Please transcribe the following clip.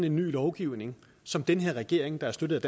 en ny lovgivning som den denne regering der er støttet